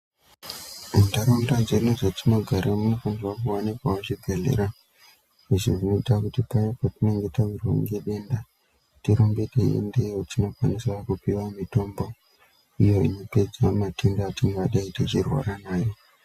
Muntaraunda dzedu dzatinogara munofanirwa kuwanikwawo zvibhedhleya, zvekuita kuti paya patinenge tawirwa ngedenda tirambe teiendeyo tinokwanisa kupiwa mitombo iya inopedza matenda atingadai techirwara nawo.